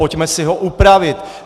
Pojďme si ho upravit.